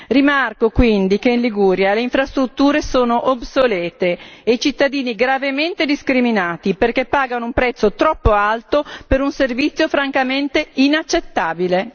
Rimarco quindi che in Liguria le infrastrutture sono obsolete e i cittadini gravemente discriminati perché pagano un prezzo troppo alto per un servizio francamente inaccettabile.